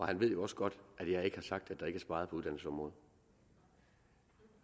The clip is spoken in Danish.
han ved jo også godt at jeg ikke har sagt at der ikke er sparet på uddannelsesområdet